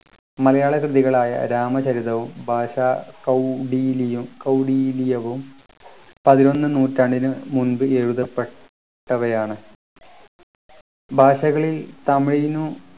മലയാള കൃതികളായ രാമചരിതവും ഭാഷാകൗടില്യ കൗടില്യവും പതിനൊന്നാം നൂറ്റാണ്ടിന് മുമ്പ് എഴുതപ്പെട്ടവയാണ് ഭാഷകളിൽ തമിഴിനും